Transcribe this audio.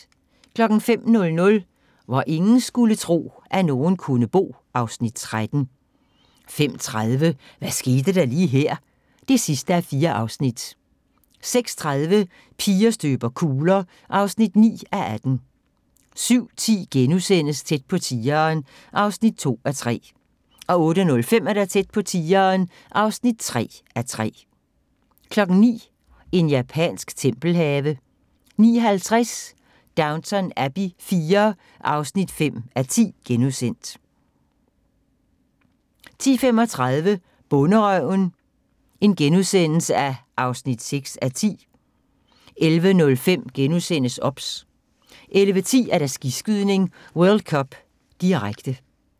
05:00: Hvor ingen skulle tro, at nogen kunne bo (Afs. 13) 05:30: Hvad skete der lige her? (4:4) 06:30: Piger støber kugler (9:18) 07:10: Tæt på tigeren (2:3)* 08:05: Tæt på tigeren (3:3) 09:00: En japansk tempelhave 09:50: Downton Abbey IV (5:10)* 10:35: Bonderøven (6:10)* 11:05: OBS * 11:10: Skiskydning: World Cup, direkte